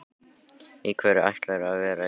Í hverju ætlarðu að vera Júlía?